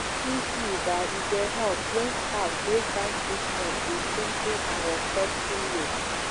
true true ba e dey help when staff break down treatment with simple and respectful way.